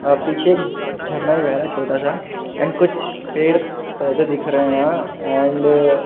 अ पीछे एक झरना बह रहा है छोटा सा एंड कुछ पेड़ पौधे दिख रहे है एंड --